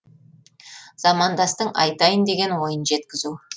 замандастың айтайын деген ойын жеткізу